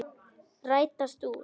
Rætast úr?